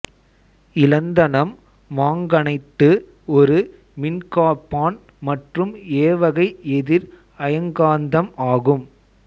இலந்தனம் manganite ஒரு மின்காப்பான் மற்றும் ஏவகை எதிர் அயக்காந்தம் ஆகும்